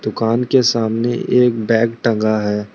दुकान के सामने एक बैंग टंगा है।